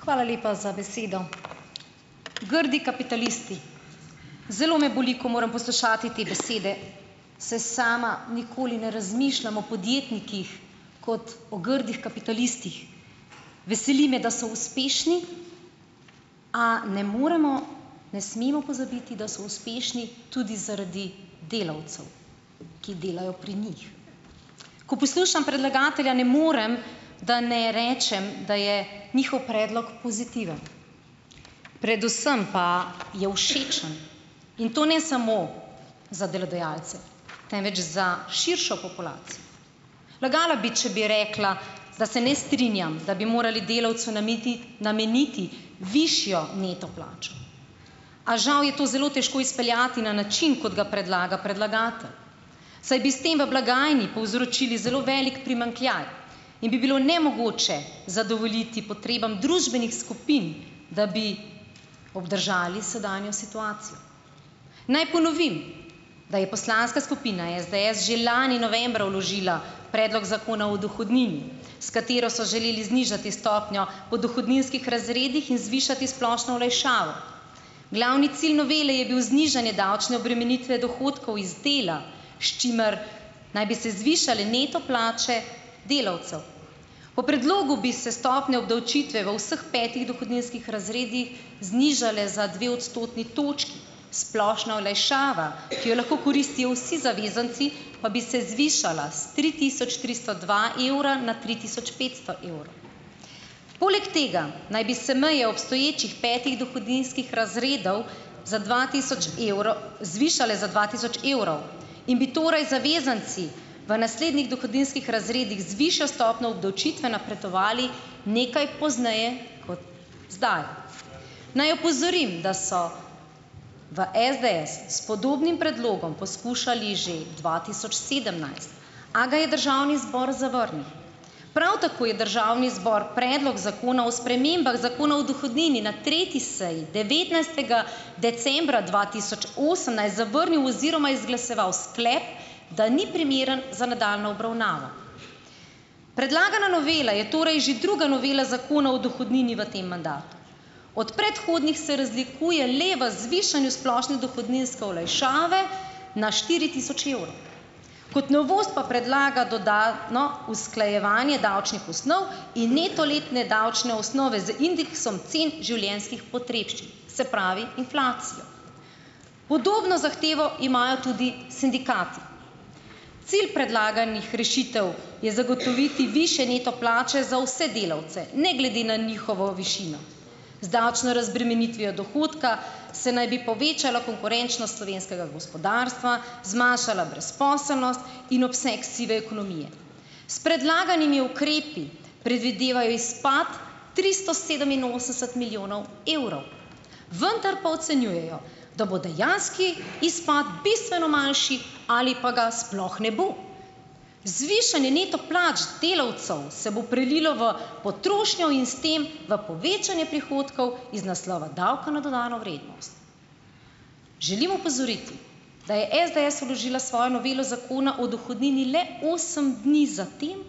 Hvala lepa za besedo. Grdi kapitalisti. Zelo me boli, ko moram poslušati te besede, saj sama nikoli ne razmišljam o podjetnikih, kot o grdih kapitalistih. Veseli me, da so uspešni, a ne moremo, ne smemo pozabiti, da so uspešni tudi zaradi delavcev, ki delajo pri njih. Ko poslušam predlagatelja, ne morem da ne rečem, da je njihov predlog pozitiven. Predvsem pa je všečen. In to ne samo za delodajalce. Temveč za širšo Lagala bi, če bi rekla, da se ne strinjam, da bi morali delavcu nameniti višjo neto plačo. A žal je to zelo težko izpeljati na način, kot ga predlaga predlagatelj, saj bi s tem v blagajni povzročili zelo velik primanjkljaj in bi bilo nemogoče zadovoljiti potrebam družbenih skupin, da bi obdržali sedanjo situacijo. Naj ponovim, da je poslanska skupina SDS že lani novembra vložila predlog Zakona o dohodnini, s katero so želeli znižati stopnjo po dohodninskih razredih in zvišati splošno olajšavo. Glavni cilj novele je bil znižanje davčne obremenitve dohodkov iz dela, s čimer naj bi se zvišale neto plače delavcev. Po predlogu bi se stopnja obdavčitve v vseh petih dohodninskih razredih znižale za dve odstotni točki. Splošna olajšava, ki jo lahko koristijo vsi zavezanci, pa bi se zvišala s tri tisoč tristo dva evra na tri tisoč petsto evrov. Poleg tega naj bi se meje obstoječih petih dohodninskih razredov za dva tisoč zvišale za dva tisoč evrov. In bi torej zavezanci v naslednjih dohodninskih razredih z višjo stopnjo obdavčitve napredovali nekaj pozneje kot zdaj. Naj opozorim, da so v SDS s podobnim predlogom poskušali že dva tisoč sedemnajst, a ga je državni zbor zavrnil. Prav tako je državni zbor predlog zakona o spremembah Zakona o dohodnini na tretji seji devetnajstega decembra dva tisoč osemnajst zavrnil oziroma izglasoval sklep, da ni primeren za nadaljnjo obravnavo. Predlagana novela je torej že druga novela Zakona o dohodnini v tem mandatu. Od predhodnih se razlikuje le v zvišanju splošne dohodninske olajšave na štiri tisoč evrov. Kot novost pa predlaga dodatno usklajevanje davčnih osnov in neto letne davčne osnove z indeksom cen življenjskih potrebščin, se pravi inflacijo. Podobno zahtevo imajo tudi sindikati. Cilj predlaganih rešitev je zagotoviti višje neto plače za vse delavce, ne glede na njihovo višino. Z davčno razbremenitvijo dohodka se naj bi povečala konkurenčnost slovenskega gospodarstva, zmanjšala brezposelnost in obseg sive ekonomije. S predlaganimi ukrepi predvidevajo izpad tristo sedeminosemdeset milijonov evrov. Vendar pa ocenjujejo, da bo dejanski izpad bistveno manjši ali pa ga sploh ne bo. Zvišanje neto plač delavcev se bo prelilo v potrošnjo in s tem v povečanje prihodkov iz naslova davka na dodano vrednost. Želim opozoriti, da je SDS vložila svojo novelo Zakona o dohodnini le osem dni zatem,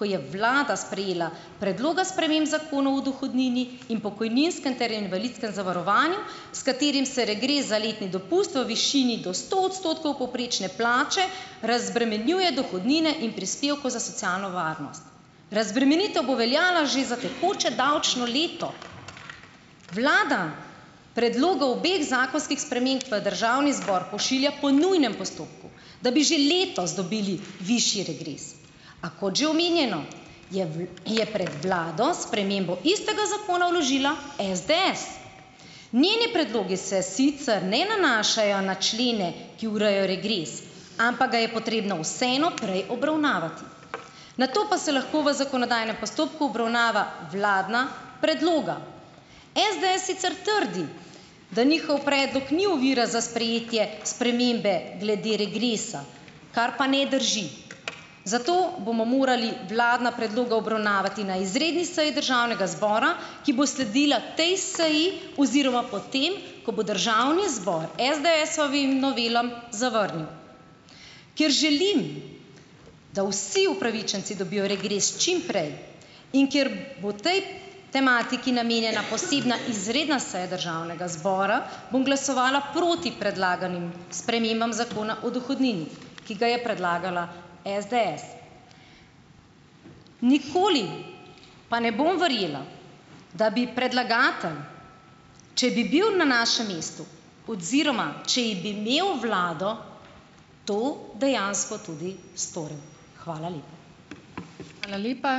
ko je vlada sprejela predloga sprememb Zakona o dohodnini in pokojninskem ter invalidskem zavarovanju, s katerim se regres za letni dopust v višini do sto odstotkov povprečne plače razbremenjuje dohodnine in prispevkov za socialno varnost. Razbremenitev bo veljala že za tekoče davčno leto. Vlada predloga obeh zakonskih sprememb v državni zbor pošilja po nujnem postopku, da bi že letos dobili višji regres. A kot že omenjeno, je je pred vlado spremembo istega zakona vložila SDS. Njeni predlogi se sicer ne nanašajo na člene, ki urejajo regres, ampak ga je potrebno vseeno prej obravnavati, nato pa se lahko v zakonodajnem postopku obravnava vladna predloga. SDS sicer trdi, da njihov predlog ni ovira za sprejetje spremembe glede regresa, kar pa ne drži. Zato bomo morali vladna predloga obravnavati na izredni seji državnega zbora, ki bo sledila tej seji, oziroma potem, ko bo državni zbor SDS-ovim novelam zavrnil. Ker želim, da vsi upravičenci dobijo regres čim prej, in ker bo tej tematiki namenjena posebna izredna seja državnega zbora, bom glasovala proti predlaganim spremembam Zakona o dohodnini, ki ga je predlagala SDS. Nikoli pa ne bom verjela, da bi predlagatelj, če bi bil na našem mestu oziroma če bi imel vlado, to dejansko tudi storil. Hvala lepa.